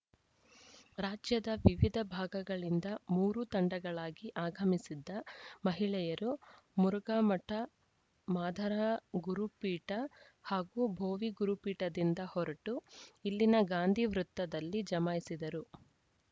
ರಾಜ್ಯದ ವಿವಿಧ ಭಾಗಗಳಿಂದ ಮೂರು ತಂಡಗಳಾಗಿ ಆಗಮಿಸಿದ್ದ ಮಹಿಳೆಯರು ಮುರುಘಾಮಠ ಮಾದಾರ ಗುರುಪೀಠ ಹಾಗೂ ಭೋವಿ ಗುರುಪೀಠದಿಂದ ಹೊರಟು ಇಲ್ಲಿನ ಗಾಂಧಿ ವೃತ್ತದಲ್ಲಿ ಜಮಾಯಿಸಿದರು